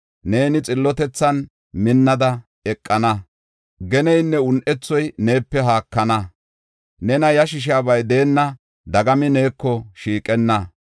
Neeni xillotethan minnada eqana; geneynne un7ethoy neepe haakana. Nena yashisiyaba deenna; dagami neeko shiiqenna.